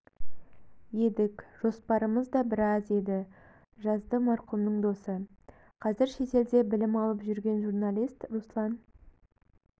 едік жоспарымыз да біраз еді жазды марқұмның досы қазір шетелде білім алып жүрген журналист руслан